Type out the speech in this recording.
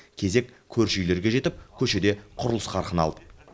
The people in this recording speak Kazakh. кезек көрші үйлерге жетіп көшеде құрылыс қарқын алды